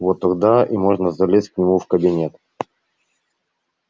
вот тогда и можно залезть к нему в кабинет